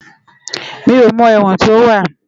Mi ó mò èwòn tó wá